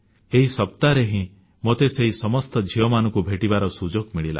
ଏହି ସପ୍ତାହରେ ହିଁ ମୋତେ ସେହି ସମସ୍ତ ଝିଅମାନଙ୍କୁ ଭେଟିବାର ସୁଯୋଗ ମିଳିଲା